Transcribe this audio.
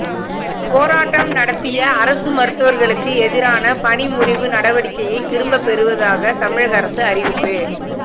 போராட்டம் நடத்திய அரசு மருத்துவர்களுக்கு எதிரான பணிமுறிவு நடவடிக்கையை திரும்ப பெறுவதாக தமிழக அரசு அறிவிப்பு